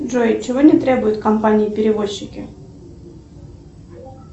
джой чего не требуют компании перевозчики